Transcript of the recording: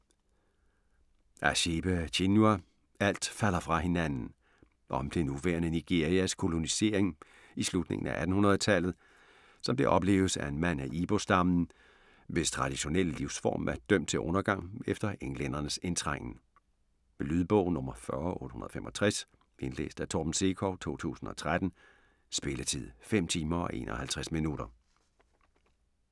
Achebe, Chinua: Alt falder fra hinanden Om det nuværende Nigerias kolonisering i slutningen af 1800-tallet, som det opleves af en mand af Ibo-stammen, hvis traditionelle livsform er dømt til undergang efter englændernes indtrængen. Lydbog 40865 Indlæst af Torben Sekov, 2013. Spilletid: 5 timer, 51 minutter.